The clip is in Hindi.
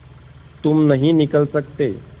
तुम नहीं निकल सकते